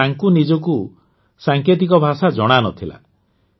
କିନ୍ତୁ ତାଙ୍କୁ ନିଜକୁ ସାଙ୍କେତିକ ଭାଷା ଜଣା ନ ଥିଲା